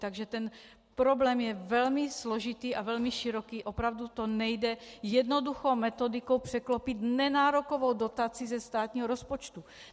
Takže ten problém je velmi složitý a velmi široký, opravdu to nejde jednoduchou metodikou překlopit nenárokovou dotací ze státního rozpočtu.